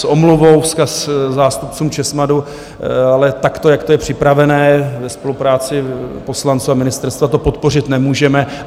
S omluvou vzkaz zástupcům Česmadu: ale takto, jak to je připravené, ve spolupráci poslanců a ministerstva to podpořit nemůžeme.